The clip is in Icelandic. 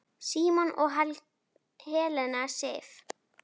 Símon og Helena Sif.